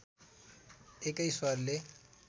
एकै स्वरले